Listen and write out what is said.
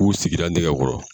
U sigira nɛgɛ kɔrɔ.